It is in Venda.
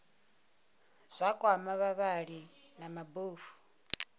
zwa kwama vhavhali vha mabofu